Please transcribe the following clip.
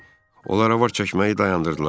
Olara var çəkməyi dayandırdılar.